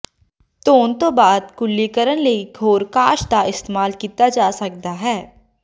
ਧੋਣ ਤੋਂ ਬਾਅਦ ਕੁਰਲੀ ਕਰਨ ਲਈ ਇਕ ਹੋਰ ਕਾਸ਼ ਦਾ ਇਸਤੇਮਾਲ ਕੀਤਾ ਜਾ ਸਕਦਾ ਹੈ